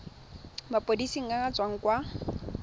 maphodiseng a a tswang kwa